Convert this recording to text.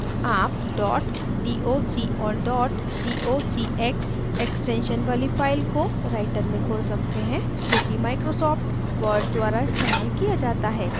आप dot doc और dot docx extensions वाली files को writer में खोल सकते हैं जोकि microsoft word द्वारा इस्तेमाल किया जाता है